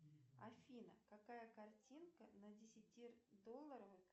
афина какая картинка на десятидолларовой